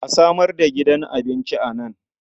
A samar da gidan abinci a nan.